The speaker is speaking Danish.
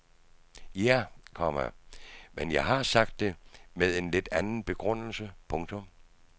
Ja, komma men jeg har sagt det med en lidt anden begrundelse. punktum